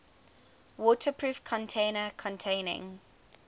waterproof container containing